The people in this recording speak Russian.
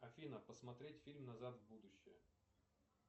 афина посмотреть фильм назад в будущее